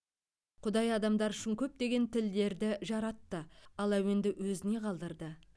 құдай адамдар үшін көптеген тілдерді жаратты ал әуенді өзіне қалдырды